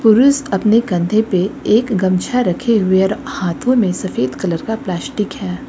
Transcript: पुरुष अपने कंधे पे एक गमछा रखे हुए है और हाथों में सफेद कलर का प्लास्टिक है।